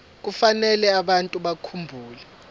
kufanele abantu bakhumbule